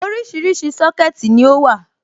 Oríṣiríṣi Sọ́kẹ̀tì ni ó wà.